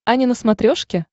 ани на смотрешке